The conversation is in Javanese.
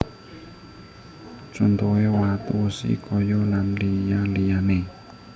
Contohe watu wesi kayu lan liya liyane